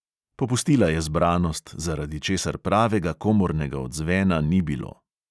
Popustila je zbranost, zaradi česar pravega komornega odzvena ni bilo.